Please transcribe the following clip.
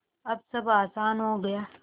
अब सब आसान हो गया